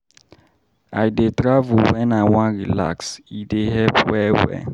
I dey travel wen I wan relax, e dey help well-well.